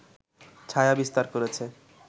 ছায়া বিস্তার করেছে